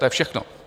To je všechno.